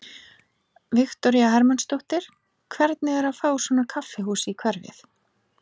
Viktoría Hermannsdóttir: Hvernig er að fá svona kaffihús í hverfið?